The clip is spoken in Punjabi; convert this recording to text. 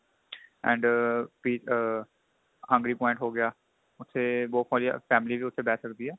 and ਪੀ ਆ hungry point ਹੋ ਗਿਆ ਤੇ ਬਹੁਤ ਵਧੀਆ family ਵੀ ਉੱਥੇ ਬੈ ਸਕਦੀ ਏ